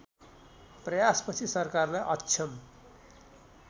प्रयासपछि सरकारलाई अक्षम